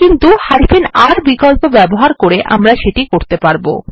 কিন্তু R বিকল্প ব্যবহার করে আমরা এটা করতে পারব